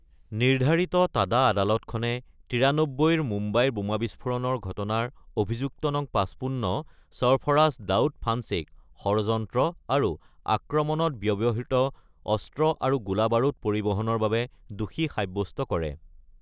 নিৰ্ধাৰিত টাডা আদালতখনে '৯৩ মুম্বাই বোমা বিস্ফোৰণৰ ঘটনাৰ অভিযুক্ত নং ৫৫, সৰফৰাজ দাউদ ফান্সেক, ষড়যন্ত্ৰ আৰু আক্ৰমণত ব্যৱহৃত অস্ত্ৰ আৰু গোলাবাৰুদ পৰিবহণৰ বাবে দোষী সাৱ্যস্ত কৰে।